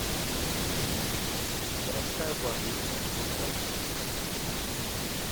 городская больница номер один